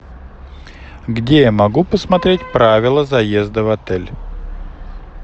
где я могу посмотреть правила заезда в отель